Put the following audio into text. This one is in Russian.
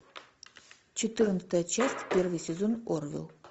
четырнадцатая часть первый сезон орвилл